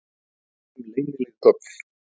Komu upp um leynileg göng